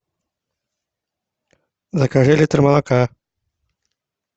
закажи литр молока